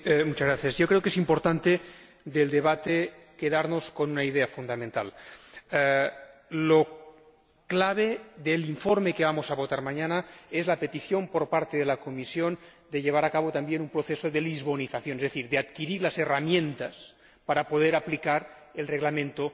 Señor Presidente, yo creo que es importante quedarnos con una idea fundamental del debate la clave del informe que vamos a votar mañana es la petición por parte de la Comisión de llevar a cabo también un proceso de lisbonización, es decir, de adquirir las herramientas para poder aplicar el Reglamento